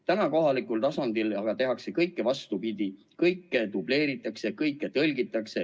Täna kohalikul tasandil tehakse kõike vastupidi, kõike dubleeritakse, kõige tõlgitakse.